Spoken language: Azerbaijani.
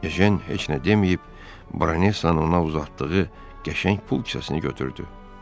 Ejen heç nə deməyib, Branessanın ona uzatdığı qəşəng pul kisəsini götürdü.